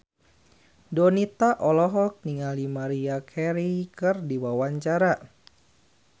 Donita olohok ningali Maria Carey keur diwawancara